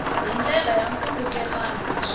hi ndlela ya nkhulukelano naswona